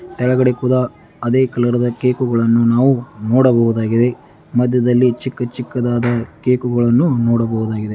ಕೆಳಗಡೆ ಕೂಡ ಅದೇ ಕಲರ್ ಕೇಕುಗಳನ್ನು ನಾವು ನೋಡಬಹುದಾಗಿದೆ ಮದ್ಯದಲ್ಲಿ ಚಿಕ್ಕ ಚಿಕ್ಕ ಕೇಕೆಗಳನ್ನು ನಾಡಬಹುದಾಗಿದೆ.